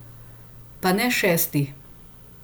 Pa na šesti.